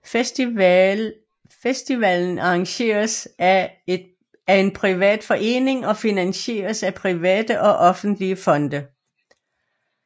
Festivalen arrangeres af en privat forening og finansieres af private og offentlige fonde